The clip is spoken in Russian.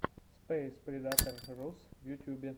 спэйспредатор рус в ютубе